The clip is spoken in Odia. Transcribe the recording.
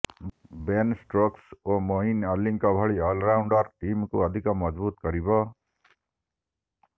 ବେନ୍ ଷ୍ଟୋକ୍ସ ଓ ମୋଇନ୍ ଅଲୀଙ୍କ ଭଳି ଅଲରାଉଣ୍ଡର ଟିମକୁ ଅଧିକ ମଜଭୁତ୍ କରିବ